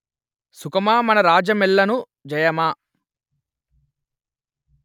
సుఖమా మన రాజ్యామెల్లను జయమా